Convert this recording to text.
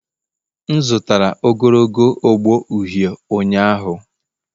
M zụtara ogologo ogbo uhie ụnyahụ.